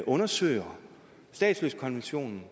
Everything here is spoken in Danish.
undersøger statsløsekonventionen